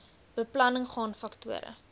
beplanning gaan faktore